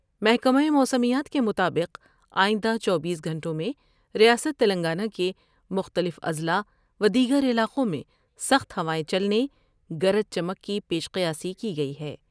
محکمہ موسمیات کے مطابق آئندہ چوبیس گھنٹوں میں ریاست تلنگانہ کے مختلف اضلاع و دیگر علاقوں میں سخت ہوائیں چلنے ، گرج چمک کی پیش قیامی کی گئی ہے ۔